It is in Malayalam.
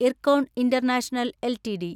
IRCON international LTD